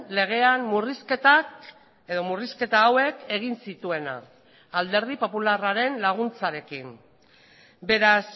legean murrizketak edo murrizketa hauek egin zituena alderdi popularraren laguntzarekin beraz